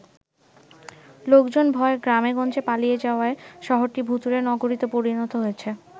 লোকজন ভয়ে গ্রামে গঞ্জে পালিয়ে যাওয়ায় শহরটি ভুতুড়ে নগরীতে পরিণত হয়েছে।